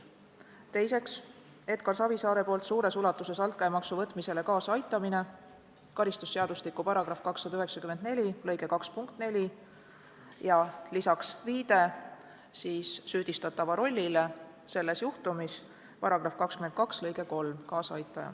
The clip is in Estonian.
Teiseks, Edgar Savisaare poolt suures ulatuses altkäemaksu võtmisele kaasaaitamine .